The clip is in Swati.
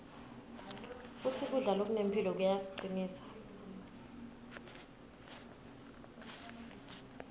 futsi kudla lokunemphilo kuyasicinsa